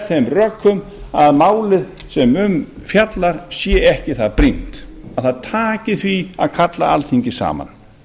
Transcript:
þeim rökum að málið sem um er fjallað sé ekki það brýnt að það taki því að kalla alþingi saman